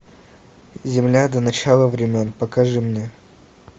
земля до начала времен покажи мне